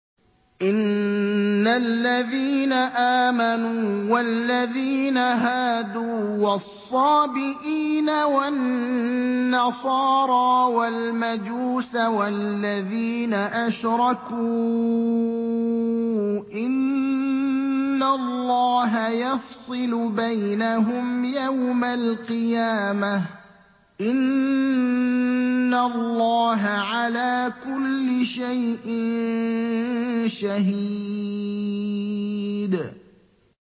إِنَّ الَّذِينَ آمَنُوا وَالَّذِينَ هَادُوا وَالصَّابِئِينَ وَالنَّصَارَىٰ وَالْمَجُوسَ وَالَّذِينَ أَشْرَكُوا إِنَّ اللَّهَ يَفْصِلُ بَيْنَهُمْ يَوْمَ الْقِيَامَةِ ۚ إِنَّ اللَّهَ عَلَىٰ كُلِّ شَيْءٍ شَهِيدٌ